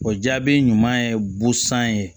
O jaabi ɲuman ye busan ye